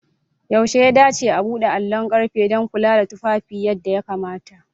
Yaushe ya dace a buɗe allon ƙarfe don kula da tufafi yadda ya kamata?